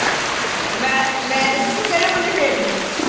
ਮੈਂ ਅਹ ਮੈਂ ਦੱਸਾ ਤੂੰ ਕਿਹੜੇ ਮੁੰਡੇ ਛੇੜਦੀ।